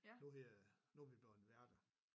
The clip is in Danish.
Du hedder nu vi bleven værter